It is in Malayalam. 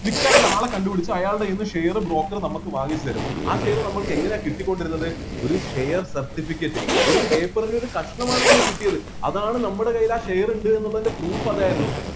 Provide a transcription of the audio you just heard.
നിക്കാൻ ഒരാളെ കണ്ടുപിടിച്ചു അയാളുടെ കയ്യിന്ന് share broker നമുക്ക് വാങ്ങിത്തരും ആ share നമ്മൾക്ക് എങ്ങനെയാ കിട്ടികൊണ്ടിരുന്നത് ഒരു share certificate ഒരു paper നൊരു കഷ്ണം ആണ് നമ്മക്ക് കിട്ടിയത് അതാണ് നമ്മുടെ കൈയിൽ ആ share ഉ എണ്ട്ന്നു ള്ളതിൻ്റെ proof അതായിരുന്നു